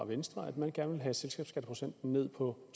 venstre at man gerne vil have selskabsskatteprocenten ned på